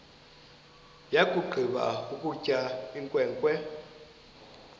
yakugqiba ukutya inkwenkwe